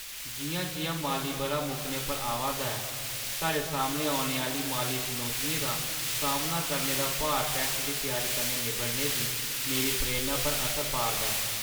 जिʼयां-जिʼयां माली बʼरा मुक्कने पर आवा 'रदा ऐ, साढ़े सामने औने आह्‌ली माली चुनौतियें दा सामना करने दा भार टैक्स दी त्यारी कन्नै निब्बड़ने दी मेरी प्रेरणा पर असर पा'रदा ऐ।